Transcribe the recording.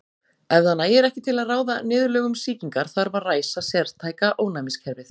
Ef það nægir ekki til að ráða niðurlögum sýkingar þarf að ræsa sértæka ónæmiskerfið.